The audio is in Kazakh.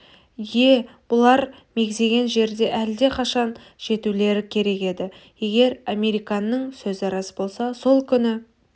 ие бұлар мегзеген жерге әлде қашан жетулері керек еді егер американның сөзі рас болса сол күні